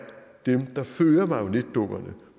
dem der fører marionetdukkerne